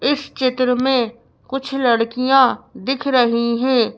इस चित्र में कुछ लड़कियां दिख रही हैं।